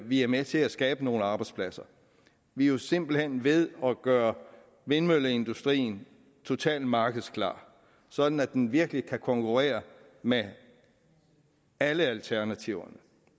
vi er med til at skabe nogle arbejdspladser vi er jo simpelt hen ved at gøre vindmølleindustrien totalt markedsklar sådan at den virkelig kan konkurrere med alle alternativerne